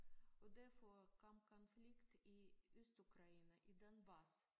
Og derfor kom konflikt i Østukraine i Donbas